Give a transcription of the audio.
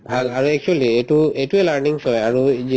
ভাল ভাল actually এইটো‍ এইটোয়ে learning হয় আৰু এই